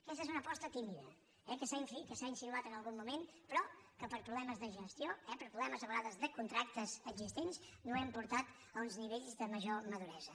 aquesta és una aposta tímida que s’ha insinuat en algun moment però que per problemes de gestió eh per problemes a vegades de contractes existents no hem portat a uns nivells de major maduresa